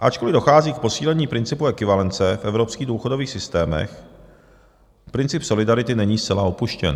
Ačkoliv dochází k posílení principu ekvivalence v evropských důchodových systémech, princip solidarity není zcela opuštěn.